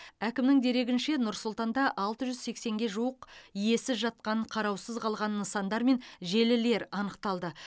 әкімнің дерегінше нұр сұлтанда алты жүз сексенге жуық иесіз жатқан қараусыз қалған нысандар мен желілер анықталды